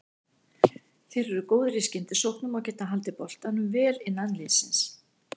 Þeir eru góðir í skyndisóknum og getað haldið boltanum vel innan liðsins.